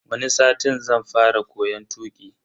Wani satin zan fara koyon tuki.